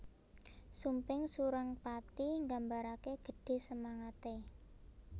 Sumping Surengpati nggambarake gedhe semangate